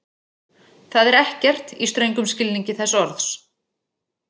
Það er ekkert, í ströngum skilningi þess orðs.